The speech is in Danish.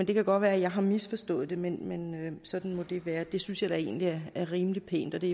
det kan godt være at jeg har misforstået det men sådan må det være og det synes jeg da egentlig er rimelig pænt og det